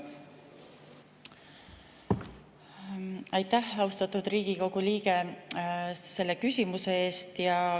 Aitäh, austatud Riigikogu liige, selle küsimuse eest!